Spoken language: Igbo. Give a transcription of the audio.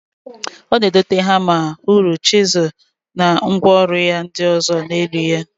O na- edote hama, huru, chizul na ngwa oru ya ndi ozo n'elu ya.